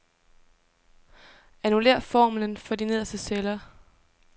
Annullér formlen for de nederste celler.